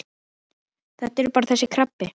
Þetta er bara þessi krabbi.